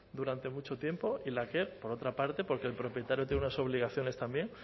durante mucho tiempo y en la que por otra parte porque el propietario tiene unas obligaciones también